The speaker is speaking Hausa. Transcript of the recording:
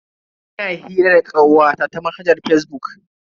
Ina hira da kawata ta manhajar fazbuk.